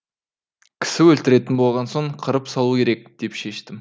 кісі өлтіретін болған соң қырып салу керек деп шештім